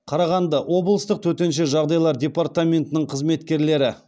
қарағанды облыстық төтенше жағдайлар департаментінің қызметкерлері